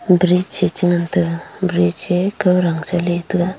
bridge e chengan taiga bridge e kaudang sa ley taga.